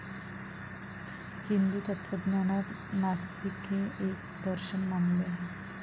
हिंदू तत्वज्ञानांत नास्तिक हे एक दर्शन मानले आहे.